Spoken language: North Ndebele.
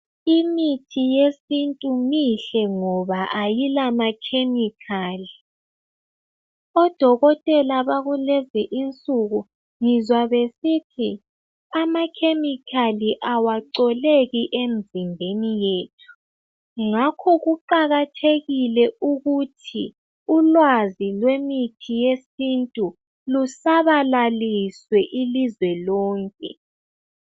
Imithi yesintu mihle ngoba ayilamakhemikhali. Odokotela bakulezi insuku ngizwa besithi amakhemikhali awacoleki emzimbeni yethu, ngakho kuqakathekile ukuthi ulwazi lwemithi yesintu lusabalaliswe ilizwe lonke.